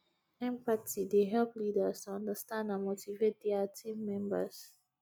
empathy dey help leaders to understand and motivate dia team members